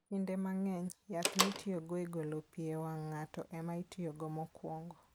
Kinde mang'eny, yath mitiyogo e golo pi e wang' ng'ato, ema itiyogo mokwongo.